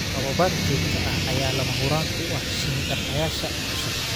Tababar joogto ah ayaa lama huraan u ah shinni dhaqayaasha cusub.